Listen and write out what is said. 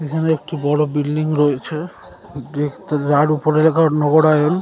এখানে একটি বড় বিল্ডিং রয়েছে। দেখতে যার উপরে লেখা নগরায়ন।